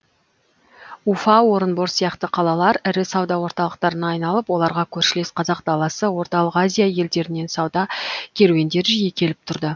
уфа орынбор сияқты қалалар ірі сауда орталықтарына айналып оларға көршілес қазақ даласы орталық азия елдерінен сауда керуендері жиі келіп тұрды